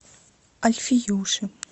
альфиюши